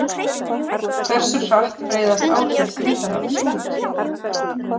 Hversu hratt breiðast áhrif þyngdarafls út?